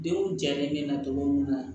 Denw jalen bɛ na cogo min na